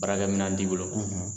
Barakɛminɛn t'i bolo